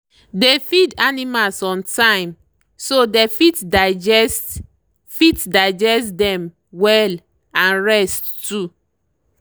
dey feed animals on timeso they fit digest fit digest them well and rest too.